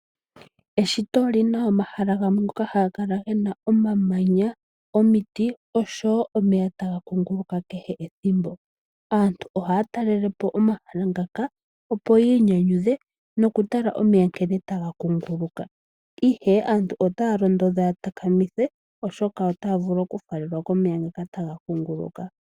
Eshito olina omahala gamwe ngoka haga kala gena omamanya ,omiti osho woo omeya taga kuunguluka kehe ethimbo. Aantu ohaya talelepo omahala ngaka opo yi inyanyudha noku tala omeya nkene taga kuunguluka. Ihe aantu otaya londodhwa ya takamithe oshoka otaya vulu oku faalelwa komeya ngoka taga kuunguluka.